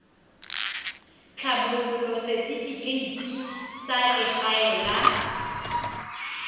tlhabolola setifikeite sa legae la